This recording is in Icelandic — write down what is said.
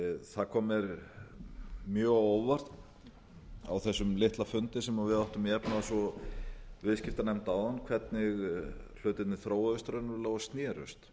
það kom mér mjög á óvart á þessum litla fundi sem við áttum í efnahags og viðskiptanefnd áðan hvernig hlutirnir þróuðust raunverulega og snerust